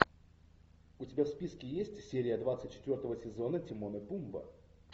у тебя в списке есть серия двадцать четвертого сезона тимон и пумба